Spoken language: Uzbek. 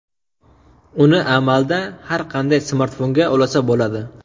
Uni amalda har qanday smartfonga ulasa bo‘ladi.